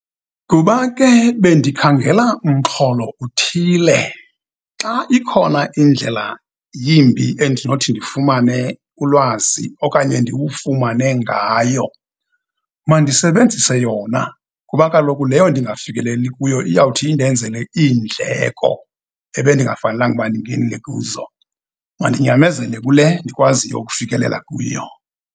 Kuba ke, bendikhangela umxholo uthile. Xa ikhona indlela yimbi endinothi ndifumane ulwazi okanye ndiwufumane ngayo, mandisebenzise yona, kuba kaloku leyo ndingafikeleli kuyo iyawuthi indenzele iindleko, ebendingafanelanga ukuba ndingenile kuzo. Mandinyamezele kule ndikwaziyo ukufikelela kuyo.